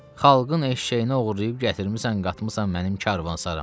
Xalqın eşşəyinə oğurlayıb gətirmisən qatmısan mənim karvansarama.